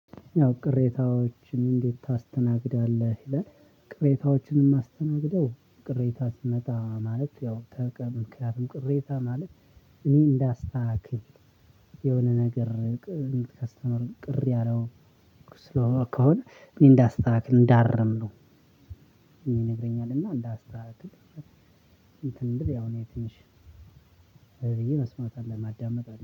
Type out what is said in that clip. ያው ቅሬታዎችን እንዴት ታስተናግዳለህ ይላል? ቅሬታዎችን የማስተናግደው ቅሬታ ሲመጣ ማለት ያው ተቀምምክንያቱም ቅሬታ ማለት እኔ እንዳስተካክል የሆነ ነገር ከስተመር ቅር ያለው። ከሆነ እንዳስተካክል እንዳረምነው ይነግረኛል። እና እንዳስተካክል እንትን ያው ነው ትነሽ። ብዬ መስማት አለብኝ ማዳመጥ